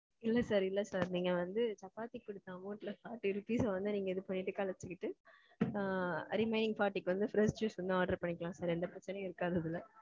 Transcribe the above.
இல்ல sir இல்ல sir. நீங்க வந்து சப்பாத்திக்கு குடுத்த amount ல forty rupees வந்து இது பண்ணிட்டு கழுச்சிட்டு remaining forty க்கு வந்து fresh juice வந்து order பண்ணிக்கலாம் sir. எந்த பிரச்னையும் இருக்காது இதுல.